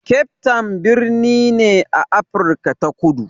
Cape town birni ne a Afrika ta Kudu.